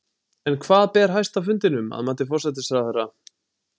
En hvað ber hæst á fundinum, að mati forsætisráðherra?